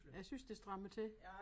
Jeg synes det strammer til